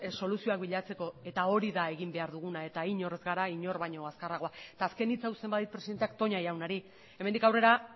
soluzioak bilatzeko eta hori da egin behar duguna eta inor ez gara inor baino azkarragoa eta azken hitza uzten badit presidenteak toña jaunari hemendik aurrera